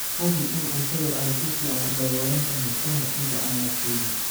Hubi in cuntadu ay si fiican u daboolan tahay ka hor inta aanad kaydin.